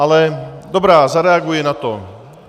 Ale dobrá, zareaguji na to.